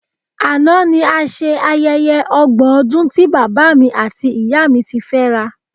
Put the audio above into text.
Àná ni a ṣe ayẹyẹ ọgbọ́n ọdún tí bàbá mi àti ìyá mi ti fẹ́ra